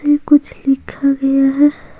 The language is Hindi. ये कुछ लिखा गया है ।